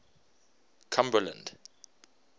cumberland